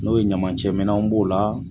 N'o ye ɲamacɛ minanw b'o la